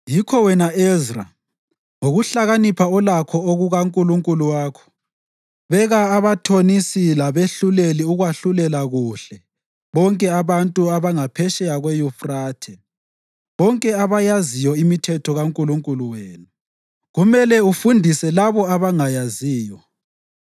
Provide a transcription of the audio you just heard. Yikho wena Ezra, ngokuhlakanipha olakho okukaNkulunkulu wakho, beka abathonisi labehluleli ukwahlulela kuhle bonke abantu abangaphetsheya kweYufrathe, bonke abayaziyo imithetho kaNkulunkulu wenu. Kumele ufundise labo abangayaziyo.